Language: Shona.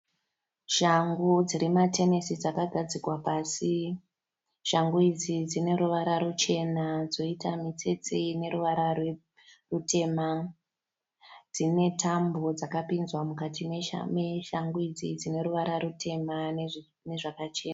Shangu dzematenesi dzakagadzikwa pasi. Shangu idzi dzineruvara ruchena dzoita mitsetse ineruvara rutema. Dzine tambo dzakapinzwa mukati meshangu idzi dzineruvara rutema nezvakachena.